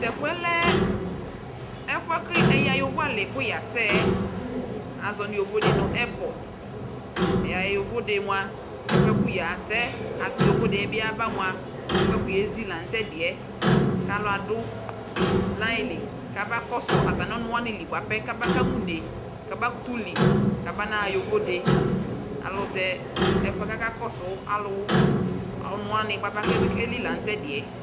Tʋ ɛfʋ yɛ lɛ ɛfʋ yɛ kʋ ɛyaɣa yovoalɩ kʋ yasɛ yɛ Azɔ nʋ yovodɩ nʋ ɛrpɔt Ɛyaɣa yovode mʋa, ɛfʋ yɛ bʋa kʋ yasɛ, atʋ yovode bɩ yaba mʋa, ɛfʋ yɛ kʋ yezi la nʋ tɛ kʋ alʋ adʋ layɩ li kabakɔsʋ atamɩ ɔnʋ wanɩ li bʋapɛ kamaka ma une kamakʋtʋ li kamanaɣa yovode Alʋ tɛ ɛfʋ yɛ kʋ akakɔsʋ alʋ ɔnʋ wanɩ bʋapɛ bɩ keli la nʋ tʋ ɛdɩ yɛ